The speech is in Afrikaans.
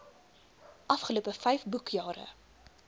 afgelope vyf boekjare